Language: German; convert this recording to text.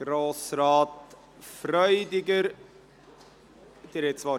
– Grossrat Freudiger, Sie haben das Wort.